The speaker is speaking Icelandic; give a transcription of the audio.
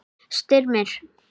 Styrmir